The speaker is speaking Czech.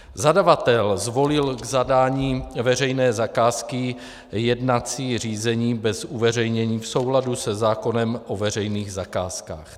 Zadavatel zvolil k zadání veřejné zakázky jednací řízení bez uveřejnění v souladu se zákonem o veřejných zakázkách.